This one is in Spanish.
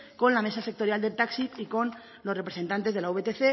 con la mesa sectorial del taxi y con los representantes de la vtc